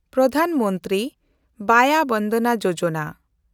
Pradhan Mantri Vaya Vandana Yojana